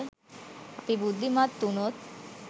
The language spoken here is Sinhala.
අපි බුද්ධිමත් වුණොත්